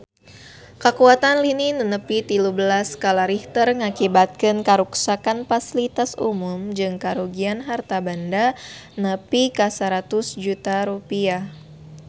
Kakuatan lini nu nepi tilu belas skala Richter ngakibatkeun karuksakan pasilitas umum jeung karugian harta banda nepi ka 100 juta rupiah